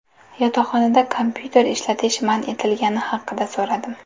Yotoqxonada kompyuter ishlatish man etilgani haqida so‘radim.